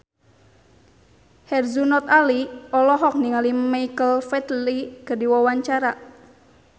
Herjunot Ali olohok ningali Michael Flatley keur diwawancara